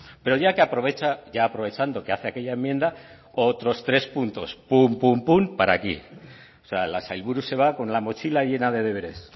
pero ya que aprovecha ya aprovechando que hace aquella enmienda otros tres puntos pum pum pum para aquí o sea la sailburu se va con la mochila llena de deberes